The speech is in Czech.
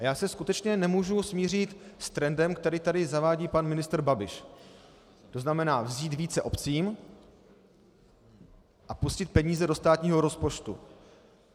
A já se skutečně nemůžu smířit s trendem, který tady zavádí pan ministr Babiš, to znamená vzít více obcím a pustit peníze do státního rozpočtu.